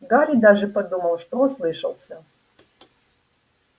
гарри даже подумал что ослышался